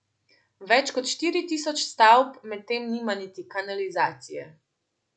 Več kot štiri tisoč stavb medtem nima niti kanalizacije.